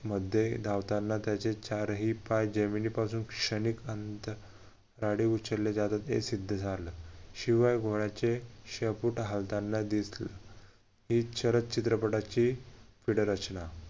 मध्ये लावताना त्याचे चारही पाय जमिनीपासून क्षणिक अंतर उचलले जात होत हे सिद्ध झालं शिवाय घोड्याचे शेपूट हालताना दिसलं ही क्षरद चित्रपटाचे feed रचना